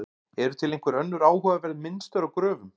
Eru til einhver önnur áhugaverð mynstur á gröfum?